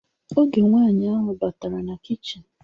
Oge nwaanyi ahụ batara na kichin